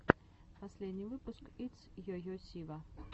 последний выпуск итс йо йо сива